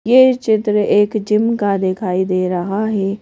यह चित्र एक जिम का दिखाई दे रहा है।